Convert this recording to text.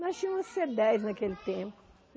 Nós tinha uma cê dez naquele tempo.